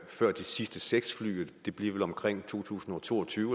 før de sidste seks fly det bliver vel omkring to tusind og to og tyve